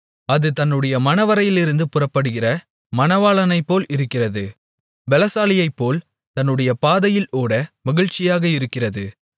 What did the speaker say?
அது தன்னுடைய மணவறையிலிருந்து புறப்படுகிற மணவாளனைப்போல் இருக்கிறது பெலசாலியைப்போல் தன்னுடைய பாதையில் ஓட மகிழ்ச்சியாக இருக்கிறது